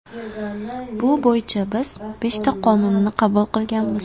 Bu bo‘yicha biz beshta qonunni qabul qilganmiz.